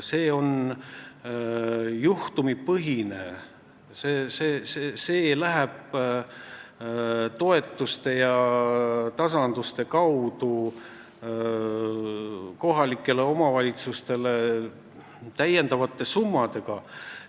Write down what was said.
See on juhtumipõhine ning see läheb toetuste ja tasanduste kaudu kohalikele omavalitsustele täiendavate summadena.